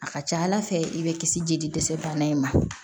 A ka ca ala fɛ i bɛ kisi jeli dɛsɛ bana in ma